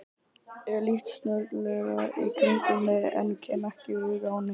Ég lít snögglega í kringum mig en kem ekki auga á neitt.